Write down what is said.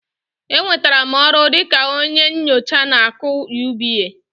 Enwetara m ọrụ dị ka onye nyocha na AKỤ UBA